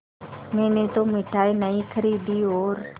मैंने तो मिठाई नहीं खरीदी और